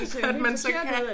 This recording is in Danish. At man så kalder